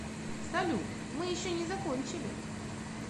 салют мы еще не закончили